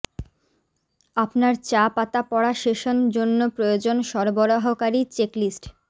আপনার চা পাতা পড়া সেশন জন্য প্রয়োজন সরবরাহকারী চেকলিস্ট